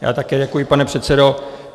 Já také děkuji, pane předsedo.